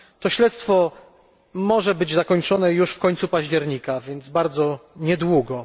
Śledztwo to może być zakończone już z końcem października, więc bardzo niedługo.